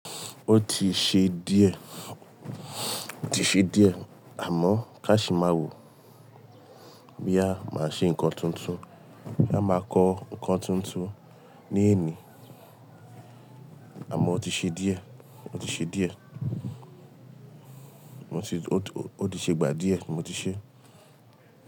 Ó ti ṣe díẹ̀, ó ti ṣe díẹ̀ àmọ́ ká sì máa wò bí a máa ṣe ńkan tuntun. A máa kọ ńkan tuntun ní èní àmọ́ ó ti ṣe díẹ̀, ó ti ṣe díẹ̀. Ó ti, ó ti, ó ti ṣe gbà díẹ̀, mo ti ṣe.